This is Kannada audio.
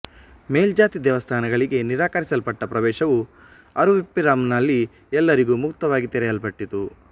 ಮೇಲ್ಜಾತಿ ದೇವಸ್ಥಾನಗಳಿಗೆ ನಿರಾಕರಿಸಲ್ಪಟ್ಟ ಪ್ರವೇಶವು ಅರುವಿಪ್ಪುರಂನಲ್ಲಿ ಎಲ್ಲರಿಗೂ ಮುಕ್ತವಾಗಿ ತೆರೆಯಲ್ಪಟ್ಟಿತು